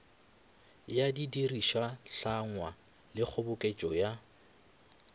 ya didirišwahlangwa le kgoboketšo ya